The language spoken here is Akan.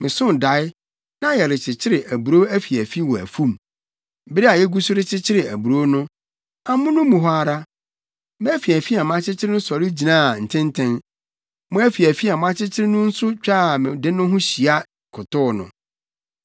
Mesoo dae, na yɛrekyekyere aburow afiafi wɔ afum. Bere a yegu so rekyekyere aburow no, amono mu hɔ ara, mʼafiafi a makyekyere no sɔre gyinaa ntenten. Mo afiafi a moakyekyere no nso twaa me de no ho hyia kotow no.”